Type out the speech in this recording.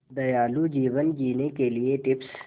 दयालु जीवन जीने के लिए टिप्स